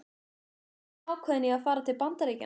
Þú ert enn ákveðin í að fara til Bandaríkjanna?